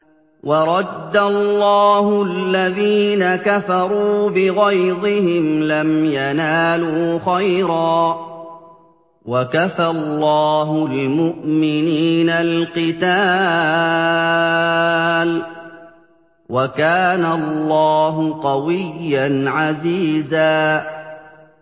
وَرَدَّ اللَّهُ الَّذِينَ كَفَرُوا بِغَيْظِهِمْ لَمْ يَنَالُوا خَيْرًا ۚ وَكَفَى اللَّهُ الْمُؤْمِنِينَ الْقِتَالَ ۚ وَكَانَ اللَّهُ قَوِيًّا عَزِيزًا